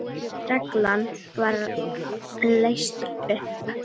Reglan var leyst upp.